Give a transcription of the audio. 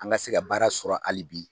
An ka se ka baara sɔrɔ hali bi.